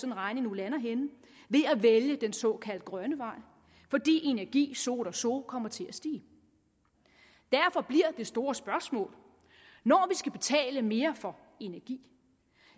en regning nu lander henne ved at vælge den såkaldt grønne vej fordi energi so oder so kommer til at stige derfor bliver det store spørgsmål når vi skal betale mere for energi